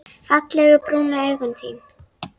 Fallegu brúnu augun þín.